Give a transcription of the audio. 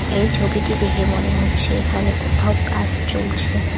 এই ছবিটি দেখে মনে হচ্ছে এখানে কোথাও কাস চলছে।